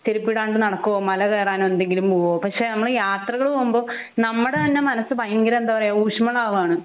ചെരുപ്പ് ഇടാണ്ട് നടക്കുവോ മല കേറാൻ എന്തെങ്കിലും പോവോ പക്ഷെ നമ്മൾ യാത്രകൾ പൊമ്പോ നമ്മുടെ തന്നെ മനസ്സ് ഭയങ്കര എന്താ പറയെ ഊഷ്മളം ആവാണ്